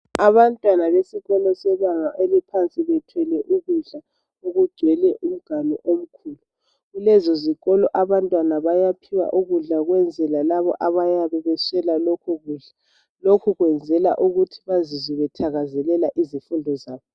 Abantwana besikolo sebanga eliphansi bethwele ukudla okugcwele umganu omkhulu kulezo zikolo abantwana bayaphiwa ukudla ukwenzela labo abayabe bengaswela lokhu kudla lokhu kwenzelwa ukuthi bazizwe bethakazelela izifundo zabo